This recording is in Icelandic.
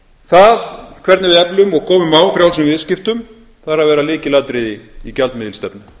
það hvernig við eflum og komum á frjálsum viðskiptum þarf að vera lykilatriði í gjaldmiðilsstefnu